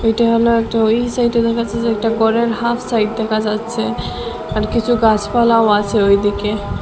এইটা হল একটা ঐ সাইডে দেখাচ্ছে যে একটা ঘরের হাফ সাইড দেখা যাচ্ছে আর কিছু গাছপালাও আছে ঐদিকে।